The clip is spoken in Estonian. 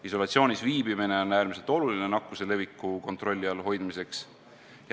Isolatsioonis viibimine on äärmiselt oluline nakkuse leviku kontrolli all hoidmiseks.